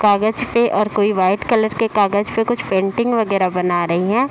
कागज पे और कोई व्हाइट कलर के कागज पे कुछ पेंटिंग वगैरह बना रहीं हैं।